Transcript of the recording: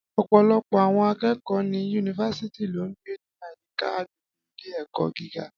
Ọ̀pọ̀lọpọ̀ àwọn akẹ́kọ̀ọ́ ní yunifásítì ló ń gbé ní àyíká agbègbè ilé-ẹ̀kọ́ gíga.